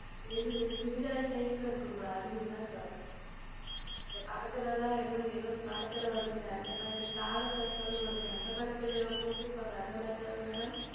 எது இந்த Chudithar Type ல் இருக்கும் அல்லவா அதுவா இந்த படத்தில் எல்லாம் எதோ ஓர் படத்தில் வரும் அல்லவா எதோ தாரை தப்பட்டை அந்த படத்தில் போட்டுருப்பார்கள் அல்லவா அந்த மாதிரி தானே Madam